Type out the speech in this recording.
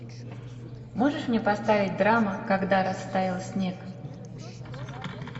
можешь мне поставить драма когда растаял снег